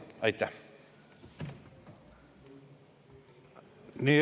Aitäh!